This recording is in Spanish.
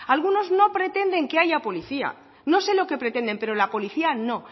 algunos no pretenden que haya policía no sé lo que pretenden pero la policía no